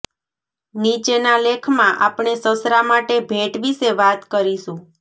નીચેના લેખમાં આપણે સસરા માટે ભેટ વિશે વાત કરીશું